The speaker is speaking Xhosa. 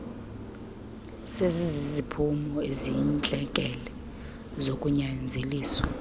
seziziziphumo eziyintlekele zokunyanzeliswa